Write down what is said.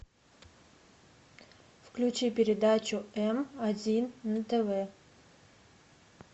включи передачу м один на тв